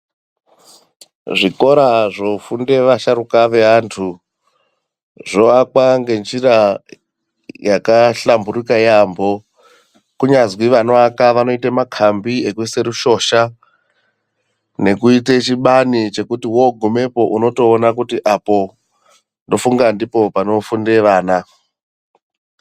Zvikora zvofunde asharuka veantu zvoakwa ngenjira yakahlamburika yaampho, kunyazi vanoaka vanoite makhambi ekuise rushosha ,nekuite chibani chekuti wogumepo unotoona kuti apo ,ndofunga ndipo panofunde vana.